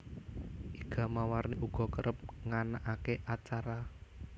Iga Mawarni uga kereb nganakake acara